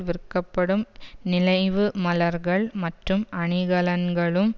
விற்கப்படும் நினைவுமலர்கள் மற்றும் அணிகலன்களும்